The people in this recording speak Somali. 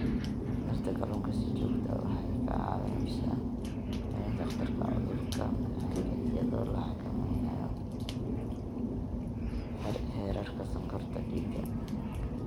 Cunista kalluunka si joogto ah waxay kaa caawinaysaa yaraynta khatarta cudurka macaanka iyadoo la xakameynayo heerarka sonkorta dhiigga.